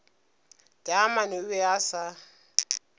taamane o be a sa